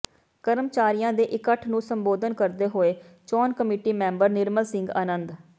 ਕਰਮਚਾਰੀਆਂ ਦੇ ਇਕੱਠ ਨੂੰ ਸੰਬੋਧਨ ਕਰਦੇ ਹੋਏ ਚੋਣ ਕਮੇਟੀ ਮੈਂਬਰ ਨਿਰਮਲ ਸਿੰਘ ਅਨੰਦ